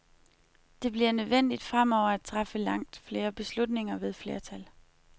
Det bliver nødvendigt fremover at træffe langt flere beslutninger ved flertal.